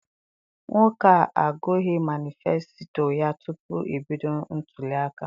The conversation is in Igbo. Nwoke a agughị manisfesito ya tupu ebido ntụliaka.